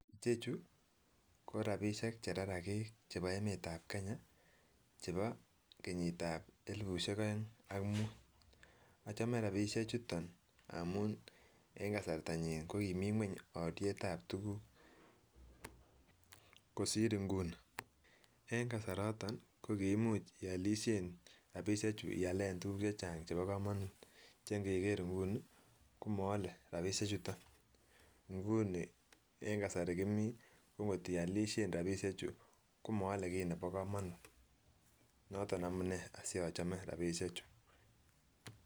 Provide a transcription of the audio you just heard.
Ichechuu ko rabishek chebo rarakik chebo emet ab kenya chebo kenyit ab elibushek oeng ak mut ochome rabishek chutok amun en kasarta nyin ko kimii ngueny olien ab tukuk kosir inguni en kasaraton ko kiimuch iolishe rabishek chuu ialen tukuk chechang chebo komonut che inkeker inguni komoole rabishek chutok. Inguni en kasari kimii ko kotiolishen rabishek chuu komoole kii nebo komonut noton amunee si ochome rabishek chutok.